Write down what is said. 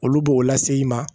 Olu b'o lase i ma